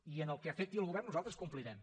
i en el que afecti el govern nosaltres complirem